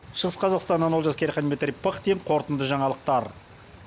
шығыс қазақстаннан олжас керейхан дмитрий пыхтин қорытынды жаңалықтар